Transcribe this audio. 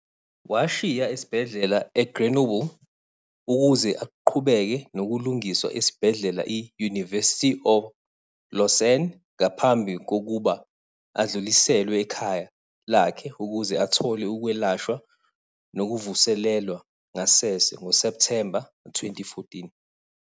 Washiya esibhedlela eGrenoble ukuze aqhubeke nokulungiswa esibhedlela i-University of Lausanne, ngaphambi kokuba adluliselwe ekhaya lakhe ukuze athole ukwelashwa nokuvuselelwa ngasese ngoSepthemba 2014.